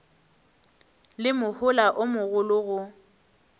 le mohola o mogolo go